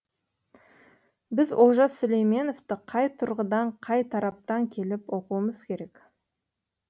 біз олжас сүлейменовті қай тұрғыдан қай тараптан келіп оқуымыз керек